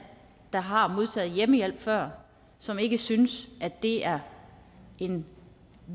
der har modtaget hjemmehjælp før som ikke synes at det er en